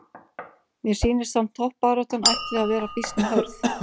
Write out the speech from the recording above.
Mér sýnist samt toppbaráttan ætli að vera býsna hörð!